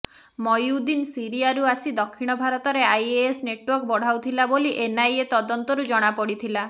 ମଇନୁଦ୍ଦିନ୍ ସିରିଆରୁ ଆସି ଦକ୍ଷିଣ ଭାରତରେ ଆଇଏସ୍ ନେଟୱର୍କ ବଢ଼ାଉଥିଲା ବୋଲି ଏନ୍ଆଇଏ ତଦନ୍ତରୁ ଜଣାପଡ଼ିଥିଲା